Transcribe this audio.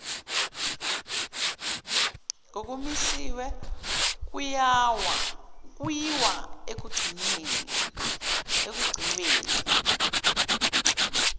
kokumisiwe kuyiwa ekugcinweni